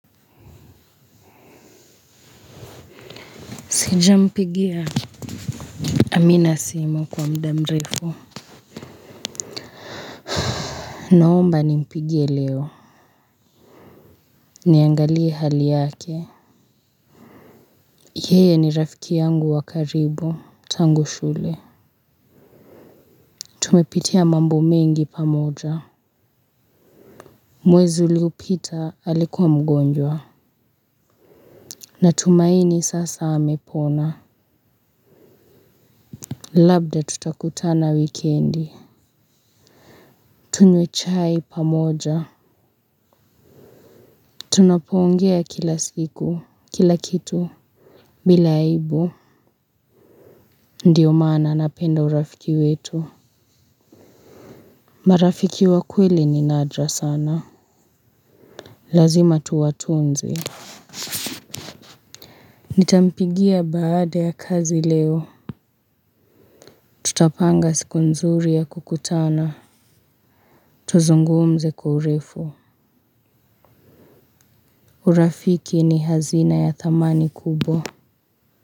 Sijampigia amina simu kwa mda mrefu. Naomba nimpigie leo. Niangalie hali yake. Yeye ni rafiki yangu wa karibu. Tangu shule tumepitia mambo mengi pamoja. Mwezi uliopita alikuwa mgonjwa. Natumaini sasa amepona. Labda tutakutana wikendi. Tunywe chai pamoja tunapo ongea kila siku kila kitu bila aibu. Ndiyo maana napenda urafiki wetu. Marafiki wa kweli ni nadra sana. Lazima tuwatunze. Nitampigia baada ya kazi leo tutapanga siku nzuri ya kukutana. Tuzungumze kwa urefu. Urafiki ni hazina ya thamani kubwa.